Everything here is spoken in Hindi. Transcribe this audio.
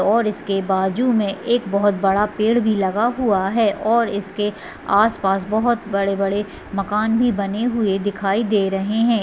और इसके बाजू में एक बहुत बड़ा पेड़ भी लगा हुआ है और इसके आस पास बहुत बड़े बड़े मकान भी बने हुए दिखाई दे रहे हैं ।